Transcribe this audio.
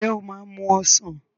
Ǹjẹ́ o máa mu ọsàn?